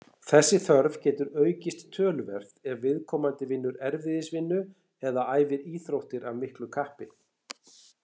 Þessi þörf getur aukist töluvert ef viðkomandi vinnur erfiðisvinnu eða æfir íþróttir af miklu kappi.